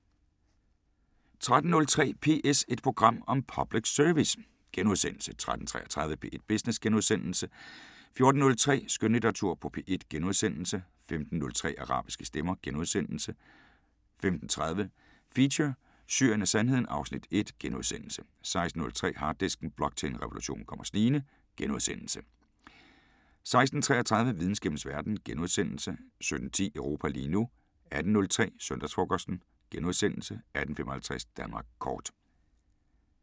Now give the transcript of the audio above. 13:03: PS – et program om public service * 13:33: P1 Business * 14:03: Skønlitteratur på P1 * 15:03: Arabiske Stemmer * 15:30: Feature: Syrien og Sandheden (Afs. 1)* 16:03: Harddisken: Blockchain-revolutionen kommer snigende * 16:33: Videnskabens Verden * 17:10: Europa lige nu 18:03: Søndagsfrokosten * 18:55: Danmark Kort